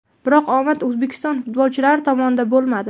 Biroq omad O‘zbekiston futbolchilari tomonda bo‘lmadi.